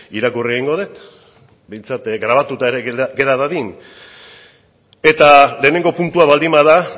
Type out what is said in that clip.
irakurri egingo dut behintzat grabatuta ere gera dadin eta lehenengo puntua baldin bada